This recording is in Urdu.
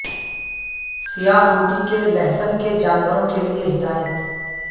سیاہ روٹی کے لہسن کے جانوروں کے لئے ہدایت